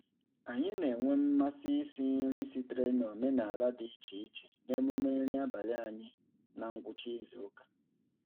Anyị na-enwe mmasị isi nri sitere n'omenaala dị iche iche n'emume nri abalị anyị na ngwụcha izuụka.